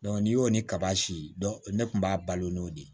n'i y'o ni kaba si ne tun b'a balo n'o de ye